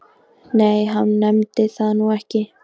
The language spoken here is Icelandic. Nei, hann nefndi það nú ekki.